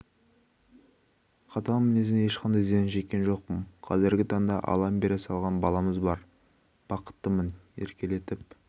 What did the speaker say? қатал мінезінен ешқандай зиян шеккен жоқпын казіргі таңда аллам бере салған баламыз бар баққытымын еркелетіп